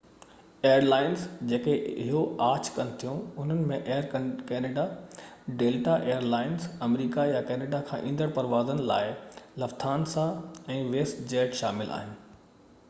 air lines جيڪي اهو آڇ ڪن ٿيون انهن ۾ Air Canada, Delta Air Lines, آمريڪا يا ڪينيڊا کان ايندڙ پروازن لاءِ لفٿانسا، ۽ ويسٽ جيٽ شامل آهن